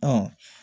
Ɔ